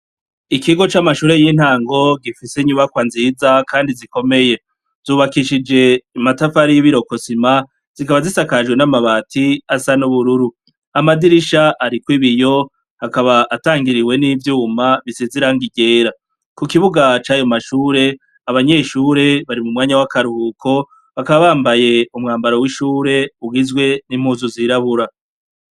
Ikigo c'amashure y'intango gifise inyubakwa nziza kandi zikomeye, zubakishije amatafari y'ibirokosima zikaba zisakajwe n'amabati asa n'ubururu, amadirisha ariko ibiyo hakaba atangiriwe n'ivyuma bisizirango igera ku kibugaca ayo mashure abanyeshure bari mu mwanya bakaruhuko bakabambaye umwambaro w'ishure ugizwe n'impuzu zirabura.